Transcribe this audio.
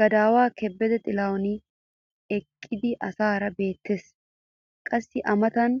Gadaawaa kebede xilahuni eqqidi asaara beetees. qassi a matan